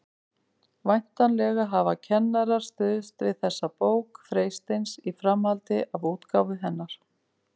Væntanlega hafa kennarar stuðst við þessa bók Freysteins í framhaldi af útgáfu hennar.